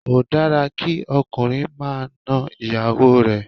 Kò dára kí ọkùnrin máa na ìyàwó rẹ̀